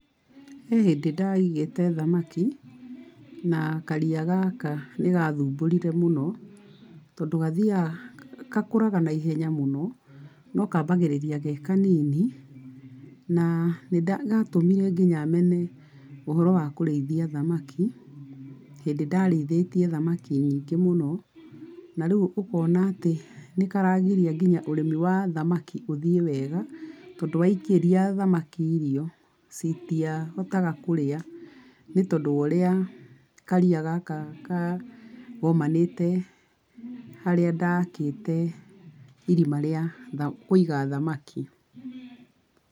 He hĩndĩ ndaigĩte thamaki, na karia gaka nĩ gathũmbũrire mũno tondũ gathiaga, gakũraga na ihenya mũno, no kambagĩrĩria ge kanini, na nĩ gatũmire nginya mene ũhoro wa kũrĩithia thamaki, hĩndĩ ndarĩithĩtie thamaki nyingĩ mũno, na rĩu ũkona atĩ nĩ karagiria ũrĩmi wa thamaki ũthiĩ wega, tondũ waikĩria thamaki irio, citirahotaga kũrĩa ĩ tondũ wa ũrĩa, karia gaka kagomanite harĩa ndakĩte irima rĩa kũiga thamaki.